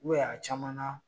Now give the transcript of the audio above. a caman na